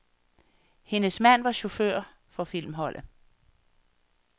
Hendes mand var chauffør for filmholdet.